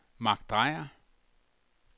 Mark Dreyer